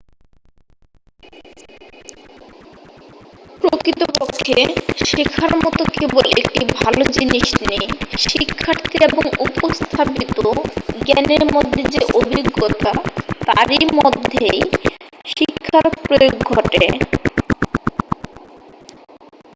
প্রকৃতপক্ষে শেখার মতো কেবল একটি ভাল জিনিস নেই শিক্ষার্থী এবং উপস্থাপিত জ্ঞানের মধ্যে যে অভিজ্ঞতা তার মধ্যেই শিক্ষার প্রয়োগ ঘটে